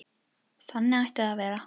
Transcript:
Þannig ætti það að vera.